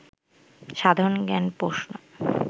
সাধারণ জ্ঞান প্রশ্ন